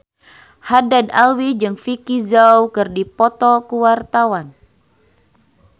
Haddad Alwi jeung Vicki Zao keur dipoto ku wartawan